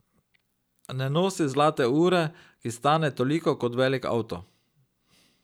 Ne nosi zlate ure, ki stane toliko kot velik avto.